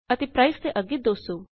ਅਤੇ ਪ੍ਰਾਈਸ ਦੇ ਅੱਗੇ 200